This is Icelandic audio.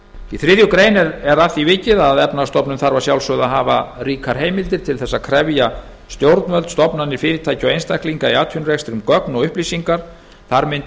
í þriðju grein er að því vikið að efnahagsstofnun þarf að sjálfsögðu að hafa ríkar heimildir til að krefja stjórnvöld stofnanir fyrirtæki og einstaklinga í atvinnurekstri um gögn og upplýsingar þar mundi